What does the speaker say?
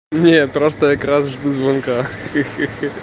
нет просто я крашу жду звонка ха-ха